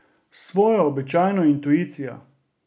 S svojo običajno intuicijo.